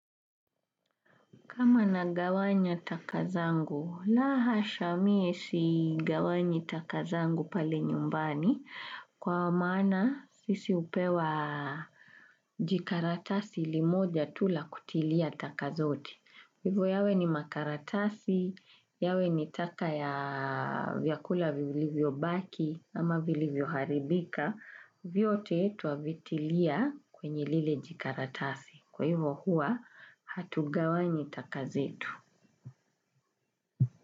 Kama nagawanya taka zangu, la hasha mie sigawanyi taka zangu pale nyumbani kwa maana sisi hupewa jikaratasi limoja tu la kutilia taka zote. Hivyo yawe ni makaratasi, yawe ni taka ya vyakula vili vyobaki ama vili vyoharibika. Vyote twavitilia kwenye lile jikaratasi. Kwa hivyo hua hatugawanyi taka zetu.